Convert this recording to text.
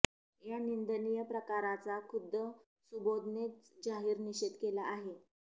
या निंदनीय प्रकाराचा खुद्द सुबोधनेच जाहीर निषेध केला आहे